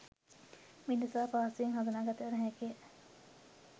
මිනිසා පහසුවෙන් හඳුනාගත නොහැකිය